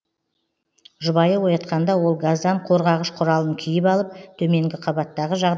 жұбайы оятқанда ол газдан қорғағыш құралын киіп алып төменгі қабаттағы жағдайды көріп келеді